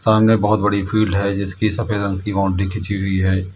सामने बहुत बड़ी फील्ड है जिसकी सफेद रंग की बाउंड्री खींची हुई है।